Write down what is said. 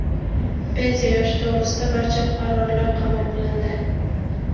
Pensiya yoshi to‘g‘risida] barcha qarorlar qabul qilindi.